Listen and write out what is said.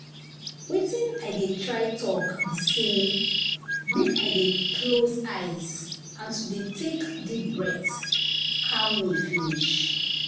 watin i dey try talk be say make i dey close eyes and to dey take deep breath calm me finish.